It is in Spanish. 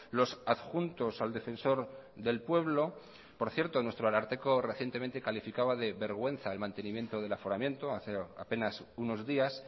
los adjuntos al defensor del pueblo por cierto nuestro ararteko recientemente calificaba de vergüenza el mantenimiento del aforamiento hace apenas unos días